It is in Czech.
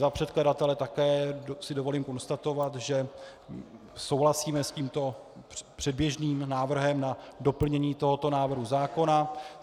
Za předkladatele si také dovolím konstatovat, že souhlasíme s tímto předběžným návrhem na doplnění tohoto návrhu zákona.